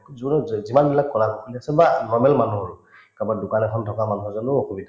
যিমান বিলাক কৰা বা normal মানুহৰো কাৰোবাৰ দোকান এখন থকা মানুহ এজনৰো অসুবিধা